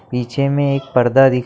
पीछे में एक पर्दा दिख--